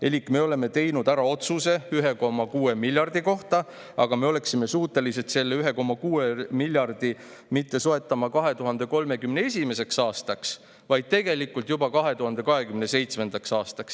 Elik me oleme teinud ära otsuse 1,6 miljardi kohta, aga me oleksime suutelised selle 1,6 miljardi mitte soetama 2031. aastaks, vaid tegelikult juba 2027. aastaks.